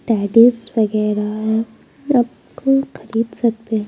Tennis वगैरह को खरीद सकते हैं।